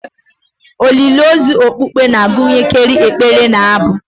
Olili ozu okpukpe na-agụnyekarị ekpere na abụ